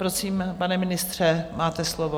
Prosím, pane ministře, máte slovo.